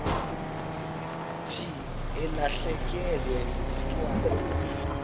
thi ulahlekelwe ngumntwana